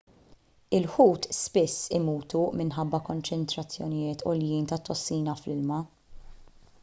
il-ħut spiss imutu minħabba konċentrazzjonijiet għoljin tat-tossina fl-ilma